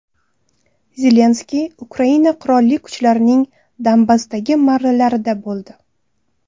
Zelenskiy Ukraina qurolli kuchlarining Donbassdagi marralarida bo‘ldi.